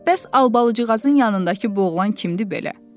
Bəs Albalıcıqazın yanındakı boğulan kimdi belə?